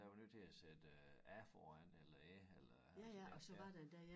Der er vi nødt til at sætte æ foran eller æ eller så det ja